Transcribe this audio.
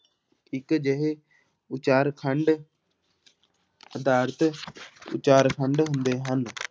ਇੱਕ ਅਜਿਹੇ ਉਚਾਰਖੰਡ ਆਧਾਰਿਤ ਉਚਾਰਖੰਡ ਹੁੰਦੇ ਹਨ।